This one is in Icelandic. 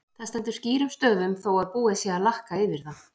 Það stendur skýrum stöfum þó að búið sé að lakka yfir það!